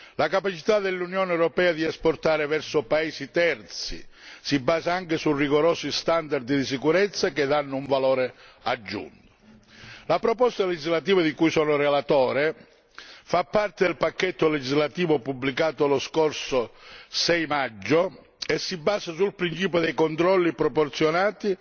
La capacità dell'Unione europea di esportare verso paesi terzi si basa inoltre su rigorosi standard di sicurezza che danno un valore aggiunto. La proposta legislativa di cui sono relatore fa parte del pacchetto legislativo pubblicato lo scorso 6 maggio e si basa sul principio dei controlli proporzionati